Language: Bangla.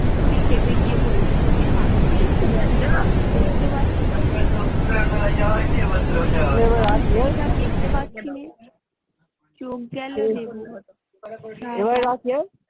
বুড়ী ক্ষেপে গিয়ে বলল চোখের মাথা খেয়েছিস? দেখতে পাছিস নে?